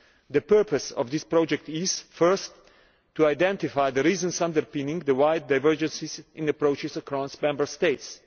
The purpose of this project is, firstly, to identify the reasons underpinning the wide divergences in approaches across Member States.